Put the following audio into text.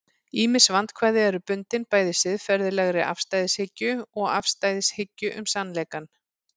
ýmis vandkvæði eru bundin bæði siðferðilegri afstæðishyggju og afstæðishyggju um sannleikann